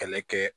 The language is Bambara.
Kɛlɛ kɛ